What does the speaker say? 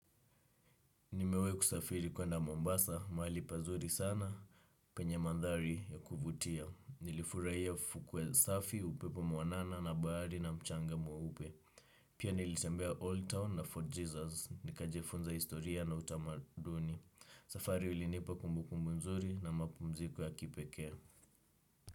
Nimewai kusafiri kwenda Mombasa, maali pazuri sana. Penye mandhari ya kuvutia, nilifurahia fukue safi, upepo mwanana na bahari na mchanga mweupe. Pia nilitembea Old Town na Fort Jesus, nikajafunza historia na utamaduni. Safari ulinipa kumbu kumbu mzuri na mapumziko ya kipekee.